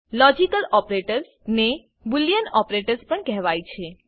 logical operators ને Boolean operators પણ કહેવાય છે